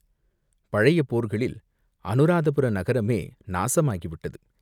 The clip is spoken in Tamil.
பழைய போர்களில் அநுராதபுர நகரமே நாசமாகிவிட்டது.